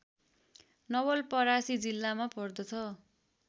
नवलपरासी जिल्लामा पर्दछ